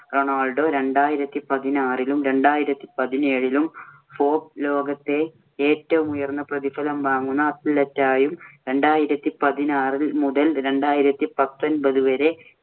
Ronaldo രണ്ടായിരത്തി പതിനാറിലും, രണ്ടായിരത്തി പതിനേഴിലും ഫോബ്‌സ് ലോകത്തെ ഏറ്റവും ഉയർന്ന പ്രതിഫലം വാങ്ങുന്ന athlete ആയും, രണ്ടായിരത്തി പതിനാറ് മുതല്‍ രണ്ടായിരത്തി പത്തൊന്‍പത് വരെ